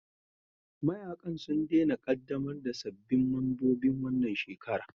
Mayaƙan sun daina ƙaddamar da sabbin membobin wannan shekara